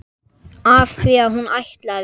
Af því hún ætlaði.